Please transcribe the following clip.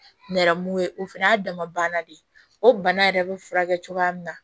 Nɛrɛmugu ye o fɛnɛ y'a dama banna de ye o bana yɛrɛ be furakɛ cogoya min na